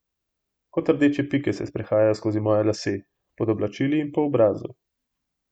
Kot rdeče pike se sprehajajo skozi moje lase, pod oblačili in po obrazu.